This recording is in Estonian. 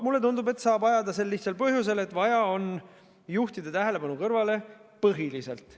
Mulle tundub, et seda saab ajada sel lihtsal põhjusel, et on vaja tähelepanu kõrvale juhtida põhiliselt.